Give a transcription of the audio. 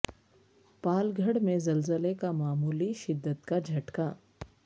پال گھڑ میں زلزلہ کا معمولی شدت کا جھٹکا